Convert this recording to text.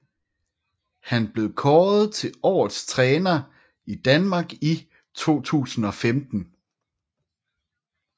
Han blev kåret til årets træner i Danmark i 2015